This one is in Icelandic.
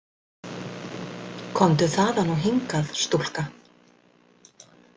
Komdu þaðan og hingað, stúlka.